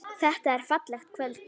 Þetta er fallegt kvöld.